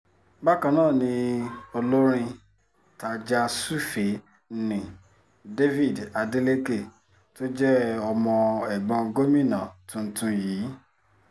bákan náà ni olórin tajà-sùfèé nni david adeleke tó jẹ́ ọmọ ẹ̀gbọ́n gómìnà tuntun yìí